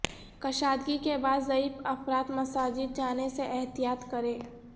کشادگی کے بعد ضعیف افراد مساجد جانے سے احتیاط کریں